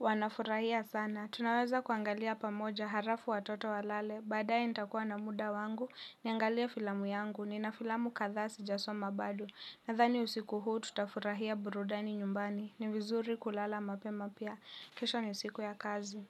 wanafurahia sana. Tunaweza kuangalia pamoja harafu watoto walale, badae nitakuwa na muda wangu, niangalia filamu yangu, nina filamu kadhaa sijasoma bado. Nadhani usiku huu tutafurahia burudani nyumbani, ni vizuri kulala mapema pia, kesho ni siku ya kazi.